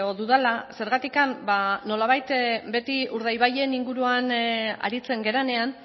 dudala zergatik ba nolabait beti urdaibairen inguruan aritzen garenean